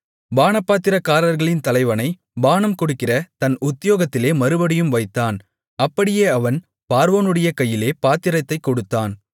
பானபாத்திரக்காரர்களின் தலைவனைப் பானம் கொடுக்கிற தன் உத்தியோகத்திலே மறுபடியும் வைத்தான் அந்தப்படியே அவன் பார்வோனுடைய கையிலே பாத்திரத்தைக் கொடுத்தான்